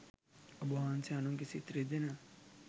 ඔබ වහන්සේ අනුන්ගේ සිත් රිදෙන,